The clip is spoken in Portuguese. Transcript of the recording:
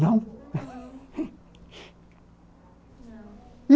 Não.